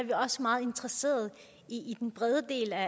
meget interesseret i den brede del af